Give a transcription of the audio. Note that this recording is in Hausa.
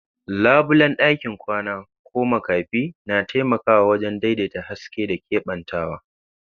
Labulen ɗakin kwana ko makafi na taimakawa wajen daidaita haske da keɓantawa.